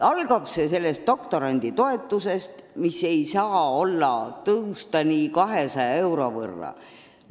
Algab see doktoranditoetusest, mis ei tohiks tõusta vaid umbes 200 euro võrra.